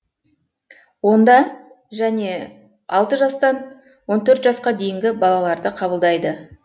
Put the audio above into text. онда және алты жастан он төрт жасқа дейінгі балаларды қабылдайды